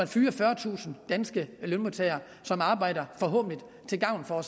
fyre fyrretusind danske lønmodtagere som arbejder forhåbentlig til gavn for